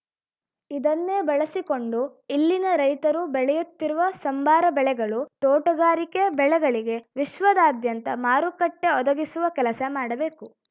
ಇದನ್ನೇ ಬಳಸಿಕೊಂಡು ಇಲ್ಲಿನ ರೈತರು ಬೆಳೆಯುತ್ತಿರುವ ಸಂಬಾರ ಬೆಳೆಗಳು ತೋಟಗಾರಿಕೆ ಬೆಳೆಗಳಿಗೆ ವಿಶ್ವದಾದ್ಯಂತ ಮಾರುಕಟ್ಟೆಒದಗಿಸುವ ಕೆಲಸ ಮಾಡಬೇಕು